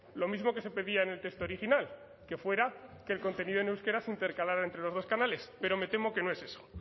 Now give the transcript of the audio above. lo mismo que se pedía en el texto original que fuera que el contenido en euskera se intercalara entre los dos canales pero me temo que no es eso